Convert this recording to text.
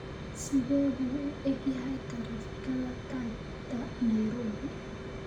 sidee buu u eg yahay taraafikada tagta nairobi